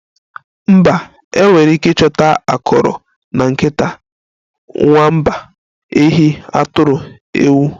Mba, enwere ike ịchọta akọrọ na nkịta, nwamba, ehi, atụrụ, ewu